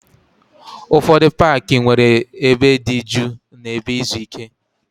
Ụfọdụ paaki nwere ebe dị jụụ na ebe izu ike.